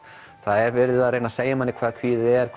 það er verið að reyna að segja manni hvað kvíði er